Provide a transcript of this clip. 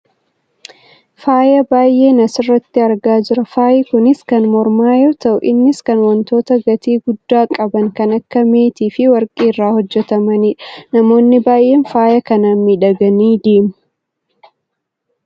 faaya baayyeen asirratti argaa jira. faayi kunis kan mormaa yoo ta'u innis kan wantoota gatii guddaa qaban kan akka meetii fi warqii irraa hojjatamanidha. namoonni baayyeen faaya kanaan miidhaganii deemu.